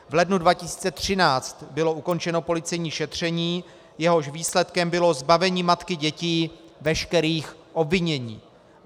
V lednu 2013 bylo ukončeno policejní šetření, jehož výsledkem bylo zbavení matky dětí veškerých obvinění.